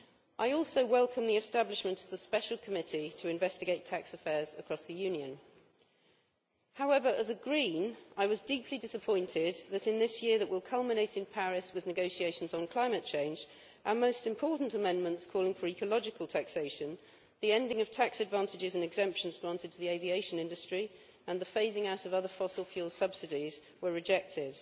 I also welcome the establishment of the special committee to investigate tax affairs across the union. However, as a Green, I was deeply disappointed that, in this year that will culminate in the Paris negotiations on climate change, our most important amendments calling for ecological taxation, the ending of tax advantages and exemptions granted to the aviation industry, and the phasing out of other fossil fuel subsidies were rejected.